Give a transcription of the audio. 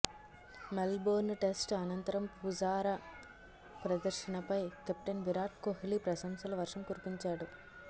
మెల్ Born test అనంతరం పుజారా ప్రదర్శనపై captain Virat Kohli ప్రశంసల వర్షం కురిపించాడు